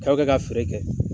Dɔ be ka feere kɛ.